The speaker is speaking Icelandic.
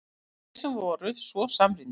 Þeir sem voru svo samrýndir!